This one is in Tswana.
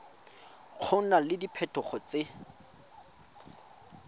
go na le diphetogo tse